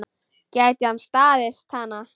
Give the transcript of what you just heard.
Gæti hann staðist hana?